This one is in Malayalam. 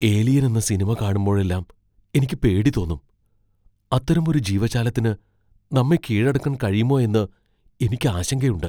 ഏലിയൻ എന്ന സിനിമ കാണുമ്പോഴെല്ലാം എനിക്ക് പേടി തോന്നും. അത്തരമൊരു ജീവജാലത്തിന് നമ്മെ കീഴടക്കാൻ കഴിയുമോ എന്ന് എനിക്ക് ആശങ്കയുണ്ട്.